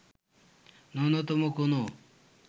ন্যূনতম কোনো